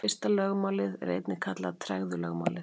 Fyrsta lögmálið er einnig kallað tregðulögmálið.